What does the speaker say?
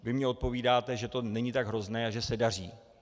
Vy mně odpovídáte, že to není tak hrozné a že se daří.